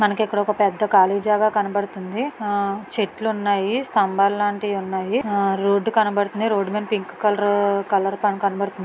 మనకి ఇక్కడ ఒక పెద్ద కాళీ జాగ కనబడుతుంది. ఆ చెట్లు ఉన్నాయి .స్తంబాల లాంటివి ఉన్నాయి . ఆ రోడ్డు కనబడుతుంది. రోడ్డు మీధ పింక్ కలరు కలర్ కనబడుతుంది.